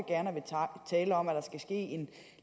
tale om at der skal ske en